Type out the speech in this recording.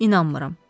İnanmıram.